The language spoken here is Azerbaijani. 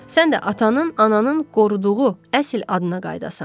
Sən də atanın, ananın qoruduğu əsl adına qayıdasan.